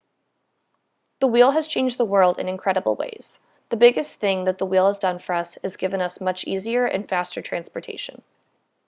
the wheel has changed the world in incredible ways the biggest thing that the wheel has done for us is given us much easier and faster transportation